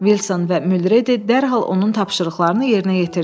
Wilson və Muldredi dərhal onun tapşırıqlarını yerinə yetirdilər.